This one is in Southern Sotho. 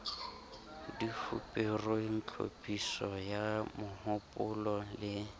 difuperweng tlhophiso ya mohopolo le